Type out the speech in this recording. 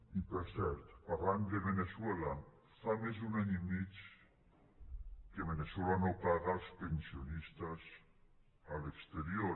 i per cert parlant de veneçuela fa més d’un any i mig que veneçuela no paga els pensionistes a l’exterior